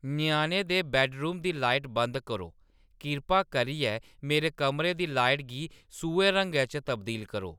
ञ्याणें दे बैड्डरूम दी लाइट बंद करो, किरपा करियै मेरे कमरे दी लाइट गी सूहे रंगै च तब्दील करो